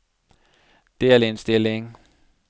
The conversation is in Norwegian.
delinnstilling